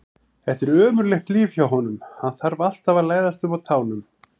Þetta er ömurlegt líf hjá honum, hann þarf alltaf að læðast um á tánum.